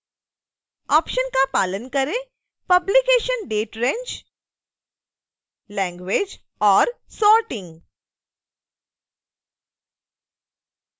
options का पालन करें publication date range language और sorting